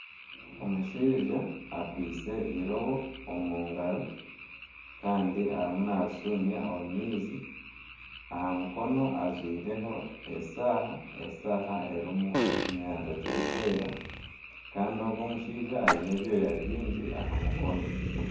Omushaija akwise eirobo omu ngaro kandi arimu naarishumya omu maizi aha mukono ajwireho eshaaha, eshaaha erimu ekinyarara kirikwera kandi ogu omushaija aine ebyoya bingi aha mukono